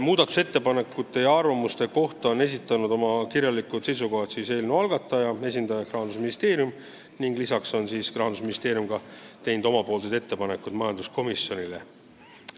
Muudatusettepanekute ja arvamuste kohta on esitanud oma kirjalikud seisukohad eelnõu algataja esindaja ehk Rahandusministeerium, ka on Rahandusministeerium teinud omapoolsed ettepanekud majanduskomisjonile.